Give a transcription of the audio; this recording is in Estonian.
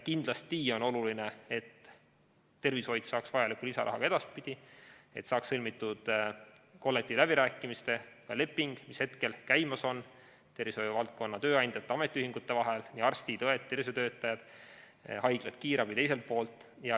Kindlasti on oluline, et tervishoid saaks vajalikku lisaraha ka edaspidi, et saaks sõlmitud kollektiivläbirääkimiste leping, mis on käimas tervishoiuvaldkonna tööandjate ja ametiühingute vahel, arstid, õed, tervishoiutöötajad, haiglad ja kiirabi siis teiselt poolt.